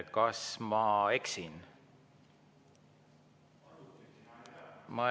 Kas ma eksin?